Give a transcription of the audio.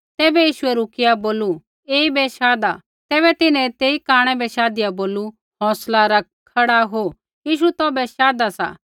तैबै यीशुऐ रुकिया बोलू ऐईबै शाधा तैबै तिन्हैं तेई कांणै बै शाधिया बोलू हौंसला रख खड़ा हो यीशु तौभै शाधा सा